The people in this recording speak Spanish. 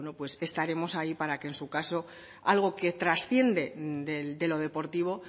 estaremos ahí para que en su caso algo que transciende de lo deportivo